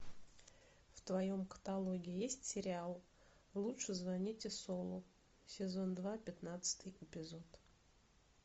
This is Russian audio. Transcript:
в твоем каталоге есть сериал лучше звоните солу сезон два пятнадцатый эпизод